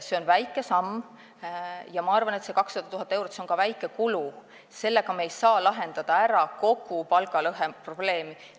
See on väike samm ja ma arvan, et see 200 000 eurot on ka väike kulu, sellega ei saa me lahendada ära kogu palgalõheprobleemi.